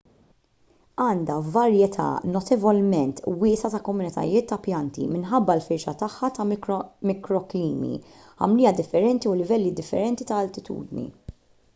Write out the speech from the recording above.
għandha varjetà notevolment wiesgħa ta' komunitajiet ta' pjanti minħabba l-firxa tagħha ta' mikroklimi ħamrija differenti u livelli differenti ta' altitudni